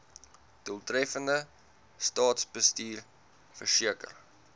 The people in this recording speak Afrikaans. doeltreffende staatsbestuur verseker